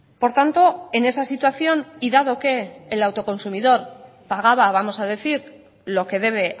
por tanto en esa situación y dado que el autoconsumidor pagaba vamos a decir lo que debe